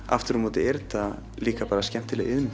aftur á móti er þetta líka bara skemmtileg iðn